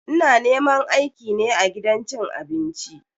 Ina neman aiki ne a gidan cin abinci.